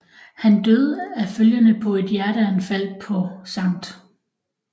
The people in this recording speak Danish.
Han døde af følgerne på et hjerteanfald på St